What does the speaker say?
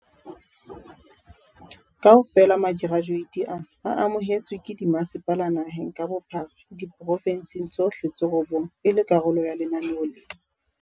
Kaofela makerajueti ana a amohetswe ke dimasepala naheng ka bophara diporofensing tsohle tse robong e le karolo ya lenaneo lena.